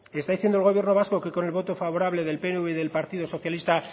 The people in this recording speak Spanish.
está diciendo el gobierno vasco que con el voto favorable del pnv y del partido socialista